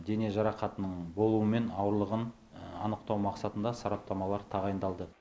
дене жарақатының болуы мен ауырлығын анықтау мақсатында сараптамалар тағайындалды